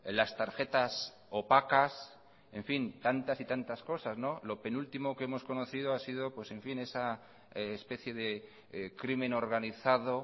las tarjetas opacas en fin tantas y tantas cosas lo penúltimo que hemos conocido ha sido en fin esa especie de crimen organizado